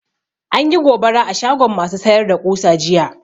Anyi gobara a shagon ma su sayar da ƙusa jiya